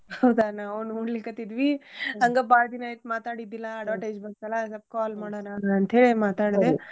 ಹೌದಾ ನಾವು ನೋಡ್ಲಿಕತ್ತಿದ್ವಿ ಹಂಗ ಬಾಳ್ ದಿನಾ ಆಯ್ತ್ ಮಾತಾಡಿದ್ದಿಲ್ಲಾ advertise ಬಂತಲ್ಲಾ ಅದಕ್ಕ್ call ಮಾಡೋನಾ ಅಂತೇಳಿ ಮಾತಾಡ್ದೆ.